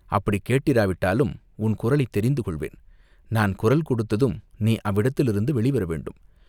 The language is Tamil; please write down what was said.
அப்படிக் கேட்டிராவிட்டாலும் உன் குரலைத் தெரிந்து கொள்வேன்." "நான் குரல் கொடுத்ததும் நீ அவ்விடத்திலிருந்து வெளி வர வேண்டும்.